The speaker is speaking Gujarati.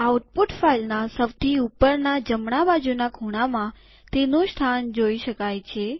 આઉટપુટ ફાઈલના સૌથી ઉપરના જમણા બાજુના ખૂણામાં તેનું સ્થાન જોઈ શકાય છે